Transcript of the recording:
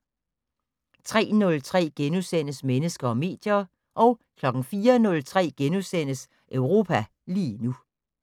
03:03: Mennesker og medier * 04:03: Europa lige nu *